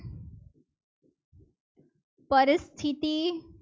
પરિસ્થિતિ